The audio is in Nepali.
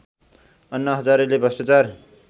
अन्ना हजारेले भ्रष्टाचार